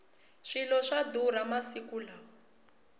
swilo swa durha masiku lawa